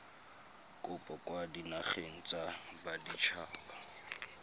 kopo kwa dinageng tsa baditshaba